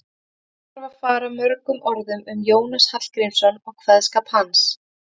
Ekki þarf að fara mörgum orðum um Jónas Hallgrímsson og kveðskap hans.